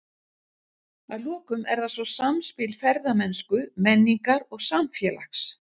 Að lokum er það svo samspil ferðamennsku, menningar og samfélags.